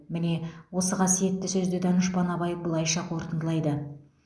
міне осы қасиетті сөзді данышпан абай былайша қортындылайды